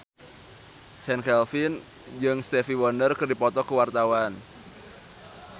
Chand Kelvin jeung Stevie Wonder keur dipoto ku wartawan